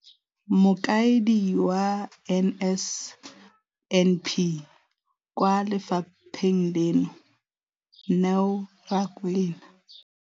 Mokaedi wa NSNP kwa lefapheng leno, Neo Rakwena,